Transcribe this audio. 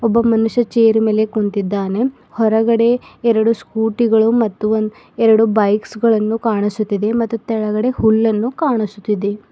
ಒಬ್ಬ ಮನುಷ್ಯ ಚೇರ್ ಮೇಲೆ ಕೂತಿದ್ದಾನೆ ಹೊರಗಡೆ ಎರಡು ಸ್ಕೂಟಿ ಗಳು ಮತ್ತು ಒಂದ್ ಎರಡು ಬೈಕ್ಸ್ ಗಳನ್ನು ಕಾಣಿಸುತ್ತಿದೆ ಮತ್ತು ತೆಳಗಡೆ ಹುಲ್ಲನ್ನು ಕಾಣಿಸುತ್ತಿದೆ.